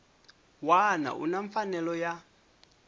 wana u na mfanelo ya